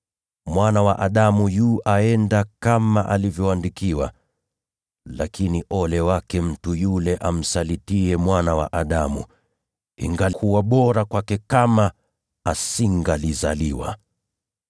Mwana wa Adamu anaenda zake kama vile alivyoandikiwa. Lakini ole wake mtu yule amsalitiye Mwana wa Adamu. Ingekuwa heri kwake mtu huyo kama hangezaliwa!”